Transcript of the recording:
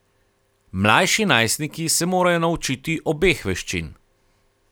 Mlajši najstniki se morajo naučiti obeh veščin.